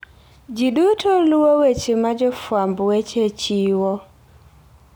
Ji duto luwo weche ma jofwamb weche chiwo.